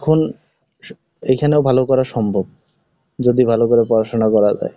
এখন এখানেও ভালো করা সম্ভব, যদি ভালো করে পড়াশোনা করা যাই।